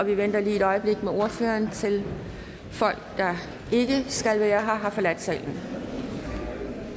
vi venter lige et øjeblik med ordføreren til folk der ikke skal være her har forladt salen